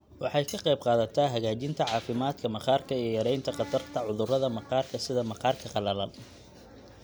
Waxay ka qaybqaadataa hagaajinta caafimaadka maqaarka iyo yaraynta khatarta cudurrada maqaarka sida maqaarka qalalan.